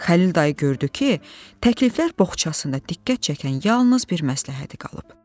Xəlil dayı gördü ki, təkliflər boğçasında diqqət çəkən yalnız bir məsləhəti qalıb.